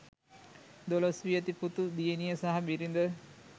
දොළොස් වියැති පුතු දියණිය සහ බිරිද